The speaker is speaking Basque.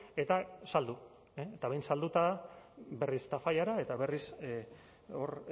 eta saldu eta behin salduta berriz tafallara eta berriz hor